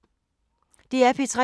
DR P3